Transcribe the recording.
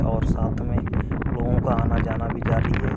और साथ मे लोगों का आना-जाना भी जारी है।